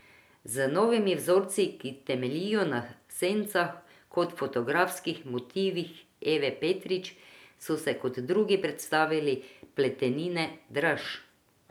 Z novimi vzorci, ki temeljijo na sencah kot fotografskih motivih Eve Petrič so se kot drugi predstavili Pletenine Draž.